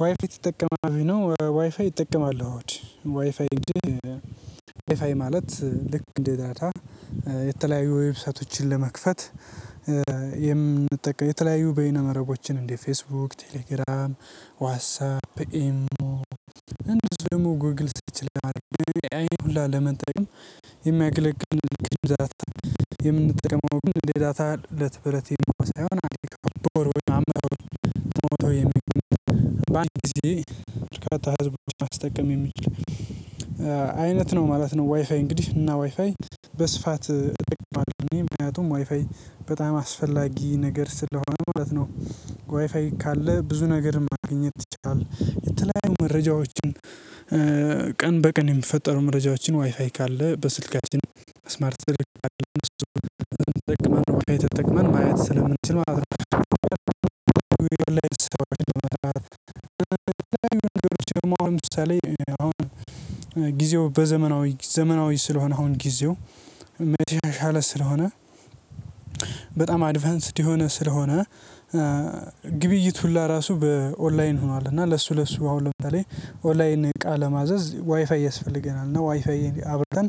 ዋይፋይ ትጠቀማለህ ወይ ነው? ዋይፋይ እጠቀማለሁ እሁድ ዋይፋይ ማለት ልክ እንዴት ዳታ። የተለያዩ ዌብሰቶችን ለመክፈት የምንጠቀመው የተለያዩ በይነ መረቦችን እንደ ፌስቡክ ቴሌግራም ዋትሳፕ ኢሞ እንደዚህ ደግሞ ጉግል ትችላለህ ኤአይን ሁላ ለመጠቀም የሚያገለግል። የምንጠቀመው ሌላ ለትብለቴ ሳይሆን አለቀው በወርቦች አመጣው የሚገኘው በአንድ ጊዜ በርካታ ህዝቦችን ማስጠቀም የሚችል አይነት ነው ማለት ነው። ዋይፋይ እንግዲህ እና ዋይፋይ በስፋት እጠቀማለሁ እኔ ምክንያቱም ዋይፋይ በጣም አስፈላጊ ነገር ስለሆነ ሁለት ነው። ዋይፋይ ካለ ብዙ ነገር ማግኘት ትችላለህ የተለያዩ መረጃዎችን። ቀን በቀን የሚፈጠሩ መረጃዎችን ዋይፋይ ካለ በስልካችን ስማርት ተጠቅመን ማየት ስለምንችል ማለት ነው። በመጥላት የምትችሉት ነገሮች ለምሳሌ አሁን ጊዜው በዘመናዊ ዘመናዊ ስለሆነ አሁን ጊዜው መቼም የተሻሻለ ስለሆነ። በጣም አድቫንስድ የሆነ ስለሆነ ግብይት ሁሉ ራሱ በኦንላይን ሆኗል። እና ለሱ ለሱ አሁን ለምታሌ ኦላይን እቃ ለማዘዝ ዋይፋይ ያስፈልገናል። እና ዋይፋይ እንዴ አብርተን